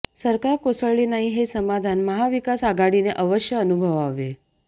सरकार कोसळले नाही हे समाधान महाविकास आघाडीने अवश्य अनुभवावे